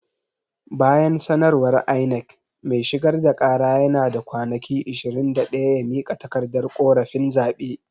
Bayan sanarwar INEC, mai shigar da kara yana da kwanaki ishirin da daya ya mika takardar korafin zaɓe.